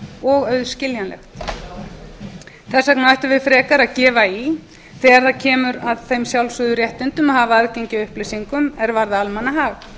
og auðskiljanlegt þess vegna ættum við frekar að gefa í þegar það kemur að þeim sjálfsögðu réttindum að hafa aðgengi að upplýsingum er varða almannahag